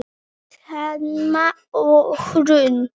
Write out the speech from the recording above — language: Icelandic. Thelma og Hrönn.